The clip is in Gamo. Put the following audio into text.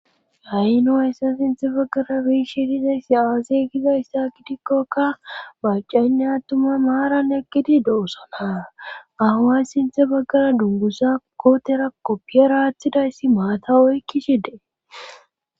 Hay nu s sinthe baggara biishi dizayssi aazey gizayssa gidikkokka macaynne attuma maaran ekkidi doosana ahawa sinthe baggara dungusa kootera koppiya raaththidayssi maata oykki shide